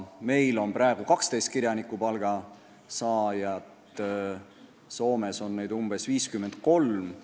Meil on praegu 12 kirjanikupalga saajat, Soomes on neid 53.